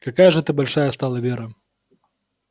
какая же ты большая стала вера